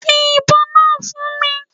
Fi ibon naa fun mi